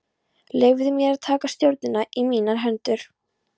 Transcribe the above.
Leyfði mér að taka stjórnina í mínar hendur.